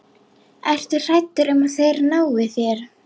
Ertu hræddur um að þeir nái þér?